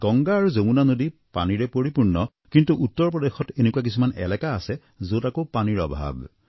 গংগা আৰু যমুনা নদীৰ পানীৰে পৰিপূৰ্ণ কিন্তু উত্তৰ প্ৰদেশত এনেকুৱা কিছুমান এলেকা আছে যত আকৌ পানীৰ অভাৱ